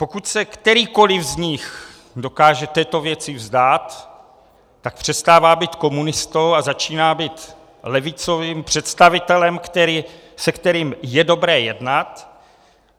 Pokud se kterýkoliv z nich dokáže této věci vzdát, tak přestává být komunistou a začíná být levicovým představitelem, se kterým je dobré jednat.